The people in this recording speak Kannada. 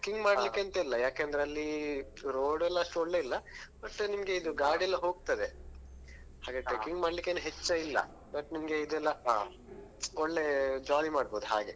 ಮಾಡ್ಲಿಕ್ಕೆ ಎಂತ ಇಲ್ಲಾ ಯಾಕಂದ್ರೆ ಅಲ್ಲಿ road ಅಲ್ಲಿ ಅಷ್ಟು ಒಳ್ಳೆ ಇಲ್ಲಾ ಮತ್ತೆ ನಿಮ್ಗೆ ಇದು ಗಾಡಿ ಎಲ್ಲಾ ಹೋಗ್ತದೆ ಹಾಗೆ trekking ಮಾಡ್ಲಿಕ್ಕೆ ಹೆಚ್ಚ ಇಲ್ಲಾ but ನಿಮ್ಗೆ ಇದೆಲ್ಲಾ ಒಳ್ಳೆ jolly ಮಾಡ್ಬೋದು ಹಾಗೆ.